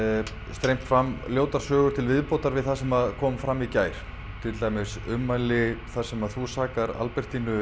streymt fram ljótar sögur til viðbótar við það sem kom fram í gær til dæmis ummæli þar sem þú sakar Albertínu